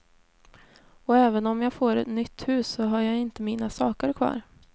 Och även om jag får nytt hus så har jag ju inte mina saker kvar.